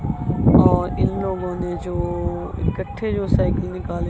और इन लोगों ने जो इकट्ठे जो साइकिल निकाले--